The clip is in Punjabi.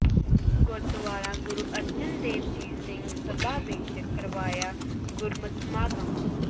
ਗੁਰਦੁਆਰਾ ਗੁਰੂ ਅਰਜਨ ਦੇਵ ਜੀ ਸਿੰਘ ਸਭਾ ਵਿੱਚ ਕਰਵਾਇਆ ਗੁਰਮਿਤ ਸਮਾਗਮ